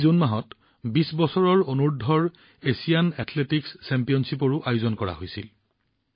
এই জুন মাহত Asian under twenty athletics চেম্পিয়নশ্বিপো অনুষ্ঠিত হৈছিল